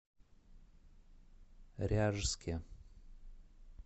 ряжске